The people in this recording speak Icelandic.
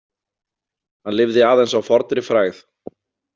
Hann lifði aðeins á fornri frægð.